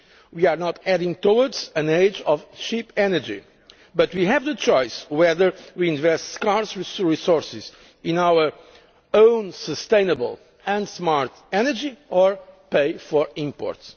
We are not heading towards an age of cheap energy, but we have the choice between investing scarce resources in our own sustainable and smart energy and paying for imports.